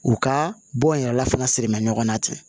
U ka bɔ n yɛrɛ la fana sirimɛ ɲɔgɔn na ten